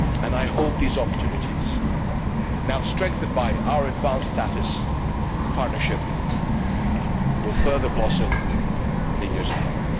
I hope these opportunities, now strengthened by our advanced status partnership, will further blossom in the years ahead.